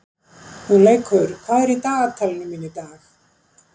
Hugleikur, hvað er í dagatalinu mínu í dag?